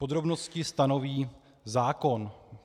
Podrobnosti stanoví zákon.